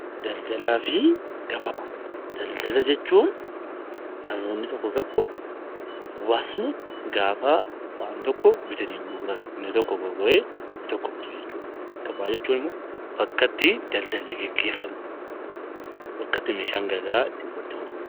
Daldala jechuun namoonni tokko tokko hawaasni gaafa waan tokko bitatee gurguratu inni tokko gurguree inni tokko bitu jechuudha. Gabaa jechuun immoo bakka itti daldalli gaggeeffamu bakka itti meeshaan garaagaraa walitti itti gurguramudha.